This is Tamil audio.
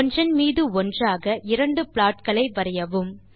ஒன்றின் மீது ஒன்றாக இரண்டு ப்ளாட் களை வரையவும்